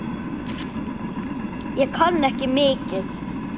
Ég kann ekki mikið.